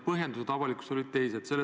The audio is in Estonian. Põhjendused avalikkusele olid teised.